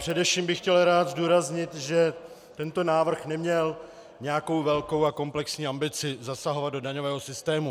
Především bych chtěl rád zdůraznit, že tento návrh neměl nějakou velkou a komplexní ambici zasahovat do daňového systému.